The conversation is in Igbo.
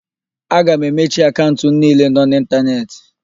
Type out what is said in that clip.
Aga m emechi akaụnt m niile nọ n'ịntanetị.